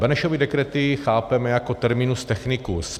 Benešovy dekrety chápeme jako terminus technicus.